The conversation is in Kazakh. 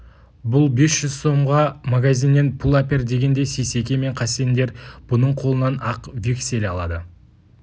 бұл бес жүз сомға магазиннен пұл әпер дегенде сейсеке мен қасендер бұның қолынан ақ вексель алады